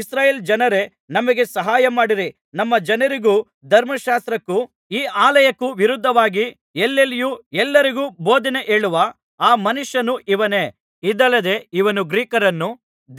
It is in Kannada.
ಇಸ್ರಾಯೇಲ್‍ ಜನರೇ ನಮಗೆ ಸಹಾಯಮಾಡಿರಿ ನಮ್ಮ ಜನರಿಗೂ ಧರ್ಮಶಾಸ್ತ್ರಕ್ಕೂ ಈ ಆಲಯಕ್ಕೂ ವಿರುದ್ಧವಾಗಿ ಎಲ್ಲೆಲ್ಲಿಯೂ ಎಲ್ಲರಿಗೂ ಬೋಧನೆ ಹೇಳುವ ಆ ಮನುಷ್ಯನು ಇವನೇ ಇದಲ್ಲದೆ ಇವನು ಗ್ರೀಕರನ್ನು